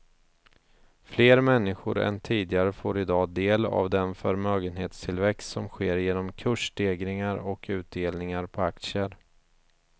Fler människor än tidigare får i dag del av den förmögenhetstillväxt som sker genom kursstegringar och utdelningar på aktier.